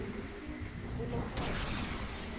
punupunu